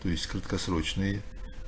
то есть краткосрочные